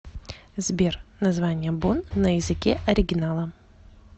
сбер название бонн на языке оригинала